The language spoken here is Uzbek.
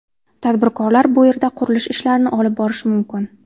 Tadbirkorlar bu yerda qurilish ishlarini olib borishi mumkin.